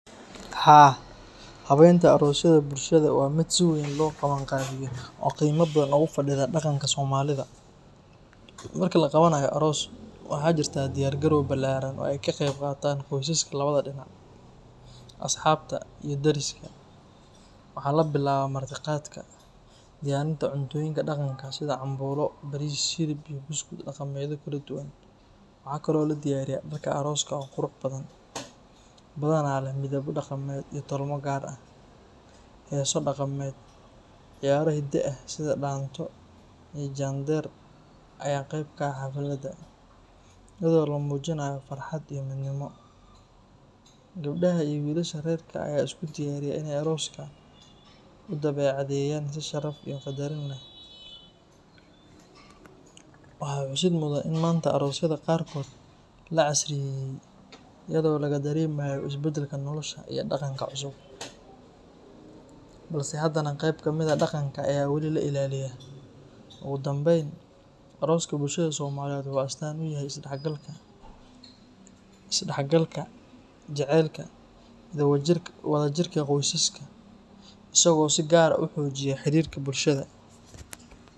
Haa haweenta arooska waa mid si weyn loo qabiyo, waxaa jira diyaar gal balaaran, waxaa labilaaba cunto Karis, darka arooska oo qurux badan, heeso daqameed, sida loo mujinaaya farxad, gabdhaha ayaa isku diyariya arooska, aroosyada waa la casriyeye, ogu danbeyn arooska wuxuu astaan uyahay jacelka iyo wada jirka bulshada.